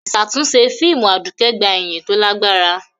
Ìṣàtúnṣe fíìmù Aduke gba ìyìn tó lágbára.